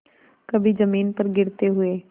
कभी जमीन पर गिरते हुए